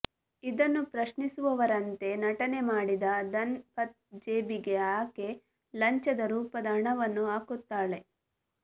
ಇದನ್ನು ಪ್ರಶ್ನಿಸುವವರಂತೆ ನಟನೆ ಮಾಡಿದ ಧನ್ ಪತ್ ಜೇಬಿಗೆ ಆಕೆ ಲಂಚದ ರೂಪದ ಹಣವನ್ನು ಹಾಕುತ್ತಾಳೆ